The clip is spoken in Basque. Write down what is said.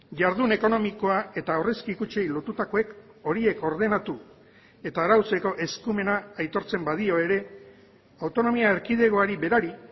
jardun ekonomikoa eta aurrezki kutxei lortutakoek horiek ordenatu eta arautzeko eskumena aitortzen badio ere autonomia erkidegoari berari